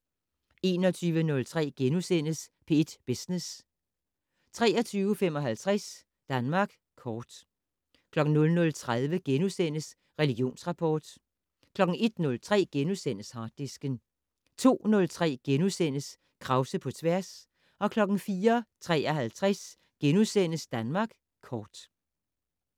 21:03: P1 Business * 23:55: Danmark kort 00:30: Religionsrapport * 01:03: Harddisken * 02:03: Krause på tværs * 04:53: Danmark kort *